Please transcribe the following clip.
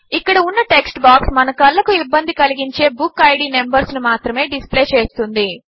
ఇక్కడ ఉన్న text box మన కళ్ళకు ఇబ్బంది కలిగించే బుక్కిడ్ నంబర్స్ ను మాత్రమే డిస్ప్లే చేస్తుంది